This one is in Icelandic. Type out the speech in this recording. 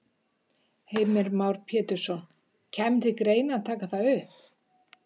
Heimir Már Pétursson: Kæmi til greina að taka það upp?